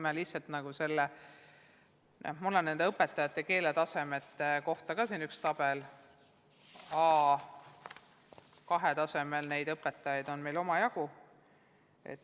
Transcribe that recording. Mul on õpetajate keeletasemete kohta ka üks tabel, meil on omajagu A2-tasemel õpetajaid.